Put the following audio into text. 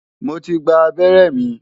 Mo ti gba abẹ́rẹ́ mi.